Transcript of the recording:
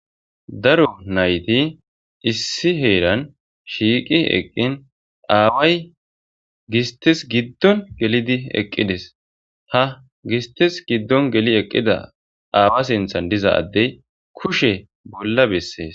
daro nayti issi heeran shiiqi eqqin aaway gistes giddon gelidi eqqides ta gistes giddon geli eqqida aawa sinthan diza addey kushe bolla bessees